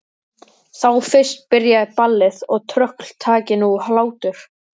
Þá fyrst byrjaði ballið og tröll taki nú hlátur.